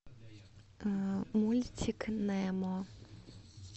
мультик немо